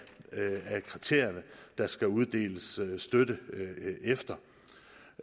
kriterierne der skal uddeles støtte efter